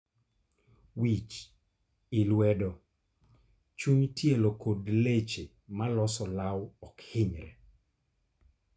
Wich,i lwedo, chuny tielo kod leche maloso olaw ok hinyre